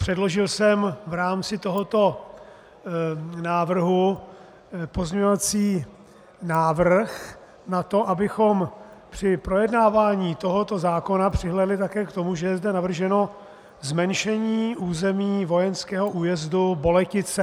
Předložil jsem v rámci tohoto návrhu pozměňovací návrh na to, abychom při projednávání tohoto zákona přihlédli také k tomu, že je zde navrženo zmenšení území vojenského újezdu Boletice.